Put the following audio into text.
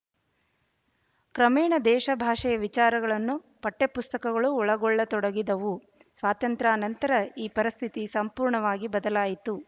ಕ್ರಮೇಣ ದೇಶ ಭಾಷೆಯ ವಿಚಾರಗಳನ್ನು ಪಠ್ಯಪುಸ್ತಕಗಳು ಒಳಗೊಳ್ಳತೊಡಗಿದವು ಸ್ವಾತಂತ್ರ್ಯಾನಂತರ ಈ ಪರಿಸ್ಥಿತಿ ಸಂಪೂರ್ಣವಾಗಿ ಬದಲಾಯಿತು